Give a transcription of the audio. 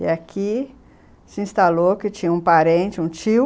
E aqui se instalou, que tinha um parente, um tio,